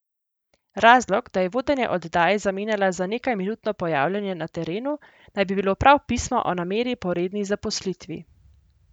Razlog, da je vodenje oddaje zamenjala za nekajminutno pojavljanje na terenu, naj bi bilo prav pismo o nameri po redni zaposlitvi.